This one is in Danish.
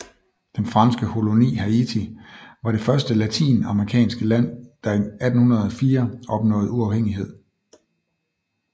Den franske koloni Haiti var det første latinamerikanske land der i 1804 opnåede uafhængighed